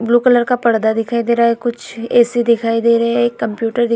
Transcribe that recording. Blue colour का पर्दा दिखाई दे रहा है कुछ ए.सी. दिखाई दे रही है. एक कम्प्यूटर दिखाई --